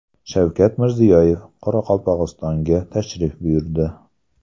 Shavkat Mirziyoyev Qoraqalpog‘istonga tashrif buyurdi.